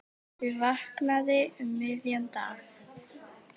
Ég vaknaði um miðjan dag.